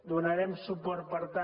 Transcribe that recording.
donarem suport per tant